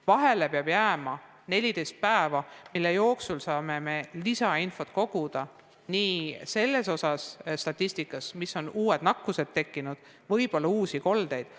Vahele peab jääma 14 päeva, mille jooksul saab koguda lisainfot, kus on uued nakkused tekkinud, võib-olla uued kolded.